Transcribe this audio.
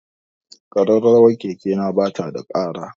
Ƙararrawar keke na ba ta da ƙara.